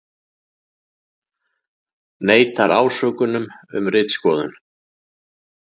Neitar ásökunum um ritskoðun